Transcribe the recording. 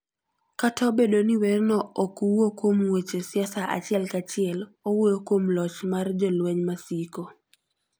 Kata obedo ni werno ok wuo kuom weche siasa achiel kachiel, owuoyo kuom loch mar jolweny masiko.